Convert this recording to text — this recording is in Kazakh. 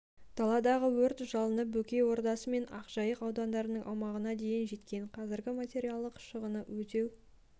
даладағы өрт жалыны бөкей ордасы мен ақжайық аудандарының аумағына дейін жеткен қазір материалдық шығынды өтеу